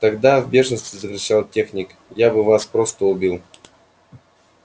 тогда в бешенстве закричал техник я бы вас просто убил